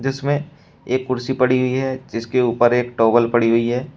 इसमें एक कुर्सी पड़ी हुई है जिसके ऊपर एक टॉवल पड़ी हुई है।